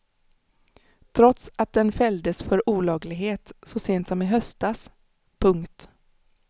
Trots att den fälldes för olaglighet så sent som i höstas. punkt